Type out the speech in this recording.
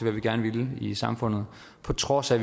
vi gerne ville i samfundet på trods af